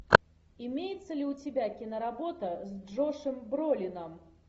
имеется ли у тебя киноработа с джошем бролином